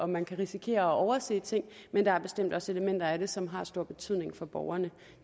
man kan risikere at overse ting men der er bestemt også elementer i det som har stor betydning for borgerne